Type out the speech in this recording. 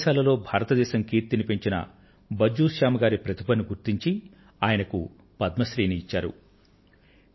విదేశాలలో భారతదేశం కీర్తిని పెంచిన భజ్జూ శ్యామ్ గారి ప్రతిభను గుర్తించి ఆయనకు పద్మశ్రీ ని ఇవ్వడం జరిగింది